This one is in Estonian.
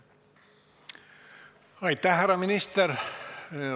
Aitäh, härra minister!